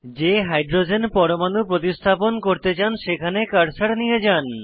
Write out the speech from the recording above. যে হাইড্রোজেন পরমাণু প্রতিস্থাপন করতে চান সেখানে কার্সার নিয়ে যান